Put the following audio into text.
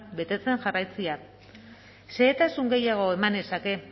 betetzen jarraitzea xehetasun gehiago eman nezake